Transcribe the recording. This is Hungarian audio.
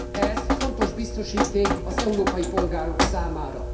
Ez fontos biztosíték az európai polgárok számára.